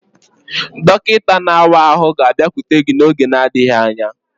Dọkịta na-awa ahụ ga-abịakwute gị n'oge n'adịghị anya.